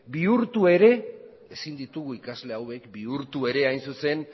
bihurtu ere hain zuzen